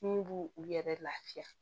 Mun b'u u yɛrɛ lafiya